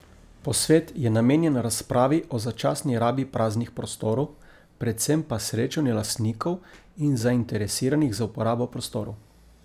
Posvet je namenjen razpravi o začasni rabi praznih prostorov, predvsem pa srečanju lastnikov in zainteresiranih za uporabo prostorov.